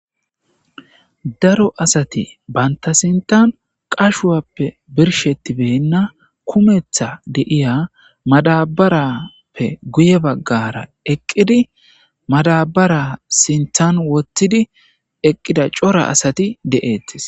Daro asati banta sintan qashuwape birshetibena kumetha di'ya madabariyape goye bagara tophiya eqidi madabara sinthan wothidi eqida cora asati de'etes.